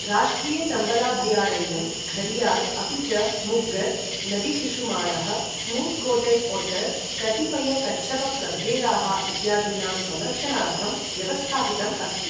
राष्ट्रिय चम्बलाभयारण्यं घरियाल् अपि च मुग्गर्, नदीशिशुमारः, स्मूत् कोटेड् ओट्टर्, कतिपय कच्छपप्रभेदाः इत्यादीनां संरक्षणार्थं व्यवस्थापितम् अस्ति।